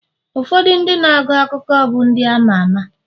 ụfọdụ ndị na-agụ akụkọ bụ ndị ama ama